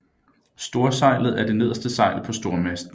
Storsejlet er det nederste sejl på stormasten